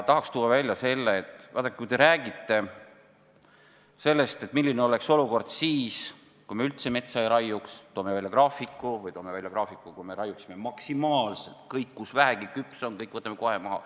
Tahan välja tuua selle, et vaadake, te räägite sellest, milline oleks olukord siis, kui me üldse metsa ei raiuks, ja toote välja ka graafiku, kui me raiuksime maksimaalselt: kõik, mis vähegi küps on, võtame kohe maha.